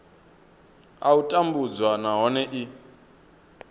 a u tambudzwa nahone i